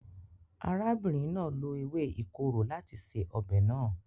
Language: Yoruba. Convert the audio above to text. Arábìnrin náà lo ewé ìkorò láti se ọbẹ̀ náà.